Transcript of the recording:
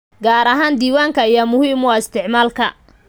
Gaar ahaan diiwaanka ayaa muhiim u ah isticmaalka.